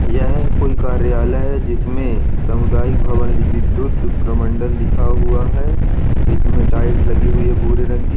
यह कोई कार्यालय है जिसमे समुदयिक भवन लि विद्युत भ्रमंडल लिखा हुआ है इसमे टाइल्स लगी हुइ है भुरे रंग कि